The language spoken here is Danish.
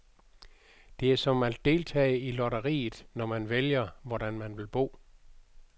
Det er som at deltage i lotteriet, når man vælger, hvordan man vil bo.